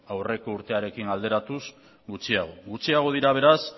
aurreko urtearekin alderatuz gutxiago gutxiago dira beraz